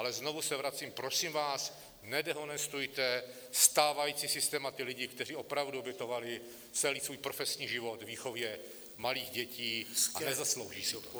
Ale znovu se vracím: Prosím vás, nedehonestujte stávající systém a ty lidi, kteří opravdu obětovali celý svůj profesní život výchově malých dětí a nezaslouží si to.